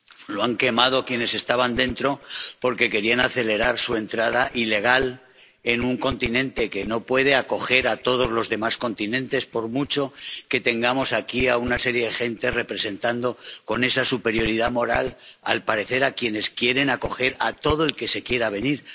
Lo han quemado quienes estaban dentro, porque querían acelerar su entrada ilegal en un continente que no puede acoger a todos los demás continentes, por mucho que tengamos aquí a una serie de gente representando, con esa superioridad moral, al parecer, a quienes quieren acoger a todo el que se quiera venir.